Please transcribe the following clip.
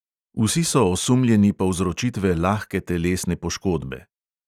Vsi so osumljeni povzročitve lahke telesne poškodbe.